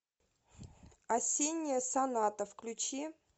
осенняя соната включи